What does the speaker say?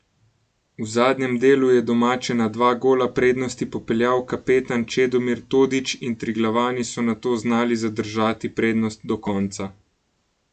V zadnjem delu je domače na dva gola prednosti popeljal kapetan Čedomir Todić in Triglavani so nato znali zadržati prednost do konca.